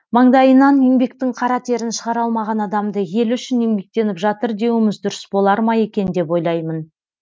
маңдайынан еңбектің қара терін шығара алмаған адамды елі үшін еңбектеніп жатыр деуіміз дұрыс болар ма екен деп ойлаймын